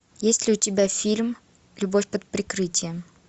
есть ли у тебя фильм любовь под прикрытием